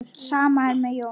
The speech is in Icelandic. Sama er með Jón.